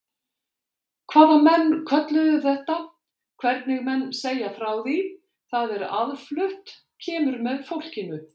Hvað menn kölluðu þetta, hvernig menn segja frá því, það er aðflutt, kemur með fólkinu.